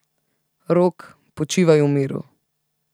Rok, počivaj v miru!